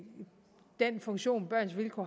den funktion børns vilkår